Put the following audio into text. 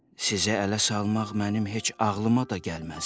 Sizi ələ salmaq mənim heç ağlıma da gəlməzdi.